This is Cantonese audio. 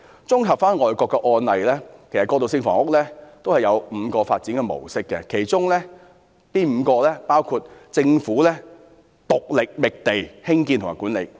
綜合外國的案例，其實過渡性房屋有5個發展模式，其中包括，第一政府獨力覓地、興建及管理。